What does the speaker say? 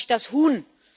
fragt sich das Huhn.